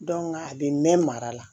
a bɛ mɛn mara la